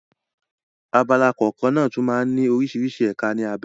Abala kọ̀ọ̀kan náà tún máa ń ní oríṣiríṣi ẹ̀ka ní abé.